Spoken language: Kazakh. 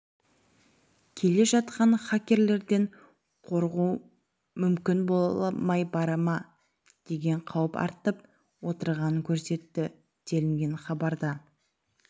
келе жатқан хакерлерден қорғу мүмкін болмай бара ма деген қауіп артып отырғанын көрсетті делінген хабарда